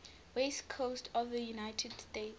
west coast of the united states